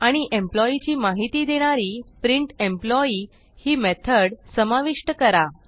आणि एम्प्लॉई ची माहिती देणारी प्रिंटेम्पलॉई ही मेथड समाविष्ट करा